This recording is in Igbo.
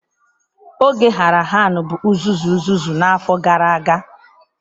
Oge Harahan bụ uzuzu uzuzu n'afọ gara aga.